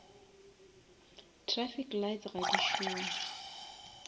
trafic lights ga di šome